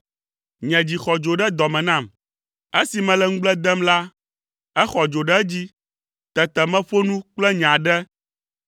Nye dzi xɔ dzo ɖe dɔ me nam; esi mele ŋugble dem la, exɔ dzo ɖe edzi; tete meƒo nu kple nye aɖe.